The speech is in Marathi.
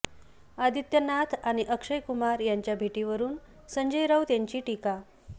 आदित्यनाथ आणि अक्षय कुमार यांच्या भेटीवरून संजय राऊत यांची टीका